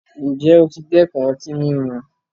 Ǹjẹ́ o ti dẹ́kun ọtí mímu?